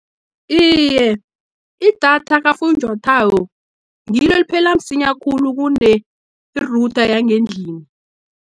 Iye, idatha kafunjathwako, ngilo eliphela msinya khulu, kune-iRouter yangendlini.